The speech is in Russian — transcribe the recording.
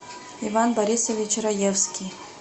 иван борисович раевский